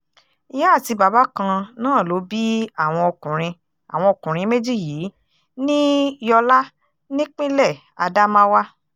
ìyá àti bàbá kan náà ló bí àwọn ọkùnrin àwọn ọkùnrin méjì yìí ní yọlá nípìnlẹ̀ ádámáwà